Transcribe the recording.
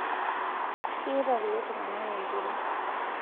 keeta kulo tunganak enkure